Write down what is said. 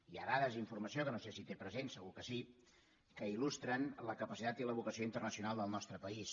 hi ha dades i informació que no sé si té presents segur que sí que il·lustren la capacitat i la vocació internacional del nostre país